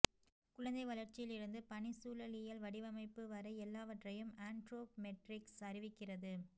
குழந்தை வளர்ச்சியில் இருந்து பணிச்சூழலியல் வடிவமைப்பு வரை எல்லாவற்றையும் ஆன்ட்ரோப்மெட்ரிக்ஸ் அறிவிக்கிறது